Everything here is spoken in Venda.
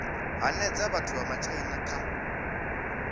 hanedza vhathu vha matshaina kha